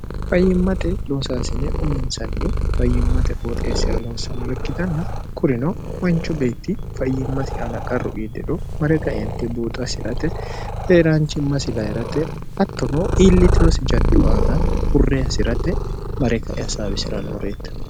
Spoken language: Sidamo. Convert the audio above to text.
fayyimmate loosaasine uminsanni fayyimmate qooxeessira lohossannore ikkitanna kurino manchu beetti fayyimmasi ana qarru iiddero mare kaente buuxo assi'rate eeraanchimmasi layirate hattono iillitirosi jaddu aana hurre hasi'rate mare kae hasaabisi'rannoreette